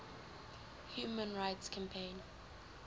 human rights campaign